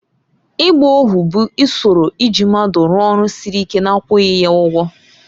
Ịgba ohu bụ usoro iji mmadụ rụọ ọrụ siri ike na-akwụghị ya ụgwọ.